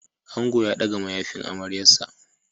Ango ya ɗaga mayafin amaryarsa.